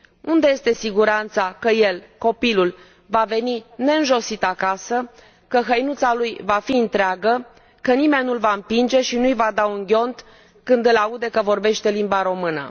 Unde este siguranța că el, copilul, va veni neînjosit acasă, că hăinuța lui va fi întreagă, că nimeni nu l va împinge și nu i va da un ghiont când îl aude că vorbește limba română?